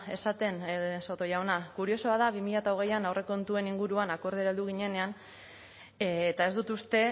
esaten soto jauna kuriosoa da bi mila hogeian aurrekontuen inguruan akordiora heldu ginenean eta ez dut uste